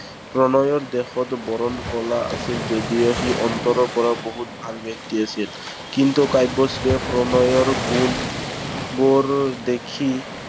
প্ৰণয়ৰ দেহৰ বৰণ কলা আছিল যদিও সি অন্তৰৰ পৰা বহুত ভাল ব্য়ক্তি আছিল। কিন্তু কাব্যশ্ৰীয়ে প্ৰণয়ৰ গুণবোৰ দেখি